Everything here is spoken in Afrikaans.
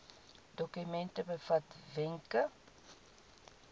dokument bevat wenke